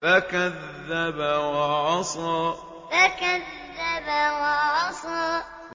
فَكَذَّبَ وَعَصَىٰ فَكَذَّبَ وَعَصَىٰ